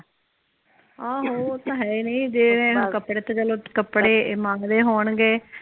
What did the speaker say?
ਆਹ ਉਹ ਤੇ ਹੈ ਨੇ ਜਿਵੇਂ ਕੱਪੜੇ ਤੇ ਚਲੋ ਕੱਪੜੇ ਮੰਗਦੇ ਹੋਣਗੇ